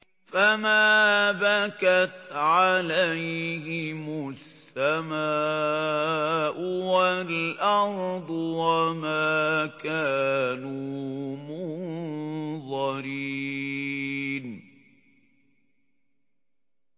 فَمَا بَكَتْ عَلَيْهِمُ السَّمَاءُ وَالْأَرْضُ وَمَا كَانُوا مُنظَرِينَ